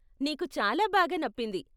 నీకు చాలా బాగా నప్పింది.